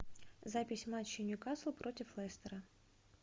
запись матча ньюкасл против лестера